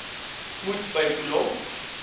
moet by kolom